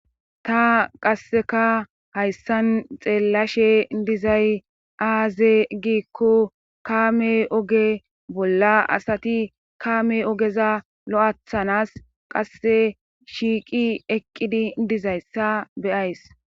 ta qasseka hayssan xeellashe dizay aaze giikko kaame oge bolla asati kaame ogeza lo7athanas qasse shiiqi eqqidi dizayssa beyays